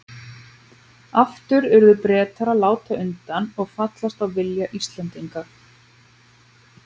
Aftur urðu Bretar að láta undan og fallast á vilja Íslendinga.